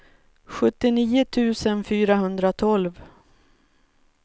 sjuttionio tusen fyrahundratolv